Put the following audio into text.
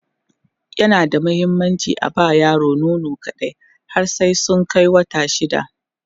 yana da muhimmanci aba ma yara nono kaɗai har sai sun Kai wata shida